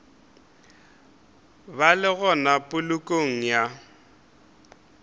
ba le gona polokong ya